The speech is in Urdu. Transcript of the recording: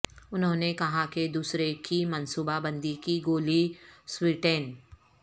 انہوں نے کہا کہ دوسرے کی منصوبہ بندی کی گولی سویٹین